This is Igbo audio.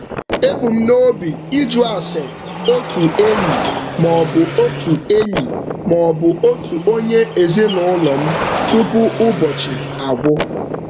Ebu m n'obi ịjụ ase otu enyi maọbụ otu enyi maọbụ otu onye ezinụụlọ m tupu ụbọchị agwụ.